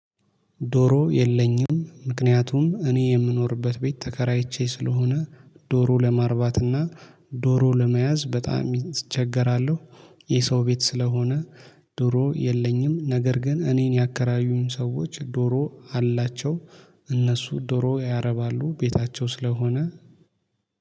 ዶሮ የለኝም ምክንያቱም እኔ የምኖርበት ቤት ተከራይቼ ስለሆነ ዶሮ ለማርባትና ዶሮ ለመያዝ በጣም እቸገራለሁ። የሰው ቤት ስለሆነ ዶሮ የለኝም። ነገር ግን እኔን ያከራዩኝ ሰዎች ዶሮ አላቸው። እነሱ ዶሮ ያረባሉ ቤታቸው ስለሆነ